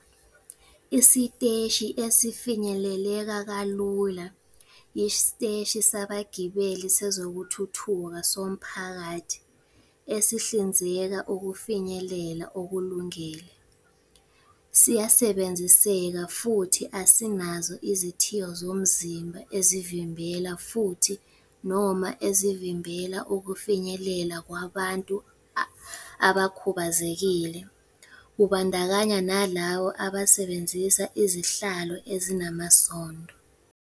Isiteshi esifinyeleleka kalula yisiteshi sabagibeli sezokuthutha somphakathi esihlinzeka ukufinyelela okulungele, siyasebenziseka futhi asinazo izithiyo zomzimba ezivimbela futhi, noma ezivimbela ukufinyelela kwabantu abakhubazekile, kubandakanya nalabo abasebenzisa izihlalo ezinamasondo.